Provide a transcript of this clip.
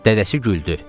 Dədəsi güldü.